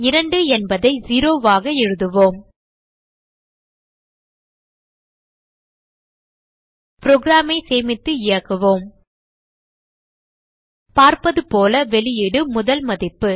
2 என்பதை 0 ஆக எழுதுவோம் program ஐ சேமித்து இயக்குவோம் பார்ப்பதுபோல வெளியீடு முதல் மதிப்பு